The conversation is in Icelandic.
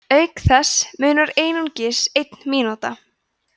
auk þess munar einungis einn mínúta